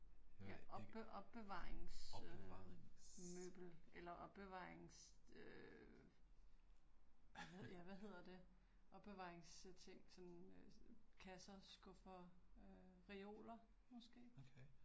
Opbevaringsmøbel. Eller opbevarings øh, ja hvad hedder det? Opbevaringsting sådan øh kasser, skuffer, øh reoler måske?